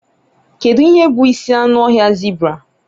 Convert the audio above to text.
Kedu ihe bụ isi anụ ọhịa zebra?